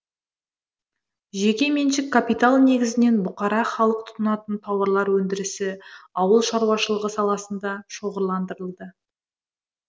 жеке меншік капитал негізінен бұқара халық тұтынатын тауарлар өндірісі ауыл шаруашылығы саласында шоғырландырылды